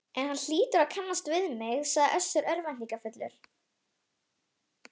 En hann hlýtur að kannast við mig, sagði Össur örvæntingarfullur.